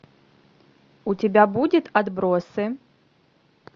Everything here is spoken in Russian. у тебя будет отбросы